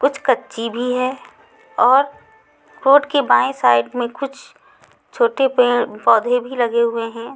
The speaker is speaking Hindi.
कुछ कच्ची भी है और कोर्ट की बाएं साइड में कुछ छोटे पेड़ पौधे भी लगे हुए हैं।